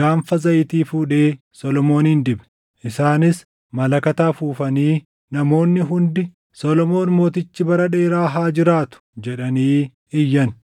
gaanfa zayitii fuudhee Solomooniin dibe. Isaanis malakata afuufanii namoonni hundi, “Solomoon mootichi bara dheeraa haa jiraatu!” jedhanii iyyan.